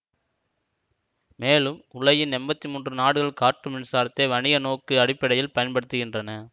மேலும் உலகின் எம்பத்தி மூன்று நாடுகள் காற்று மின்சாரத்தை வணிக நோக்கு அடிப்படையில் பயன்படுத்துகின்றன